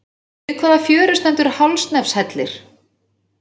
Við hvaða fjöru stendur Hálsanefshellir?